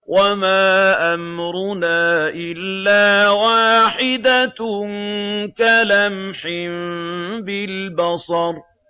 وَمَا أَمْرُنَا إِلَّا وَاحِدَةٌ كَلَمْحٍ بِالْبَصَرِ